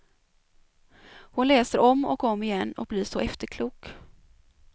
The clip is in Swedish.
Hon läser om och om igen och blir så efterklok.